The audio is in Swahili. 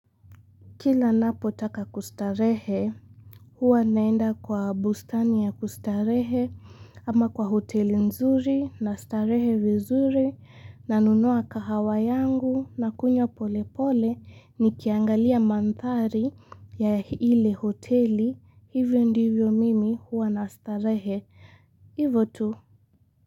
Kila napo taka kustarehe, huwa naenda kwa bustani ya kustarehe ama kwa hoteli nzuri na starehe vizuri na nunua kahawa yangu nakunywa polepole nikiangalia madhali ya ile hoteli, hivyo ndivyo mimi huwa nastarehe, hivyo tu.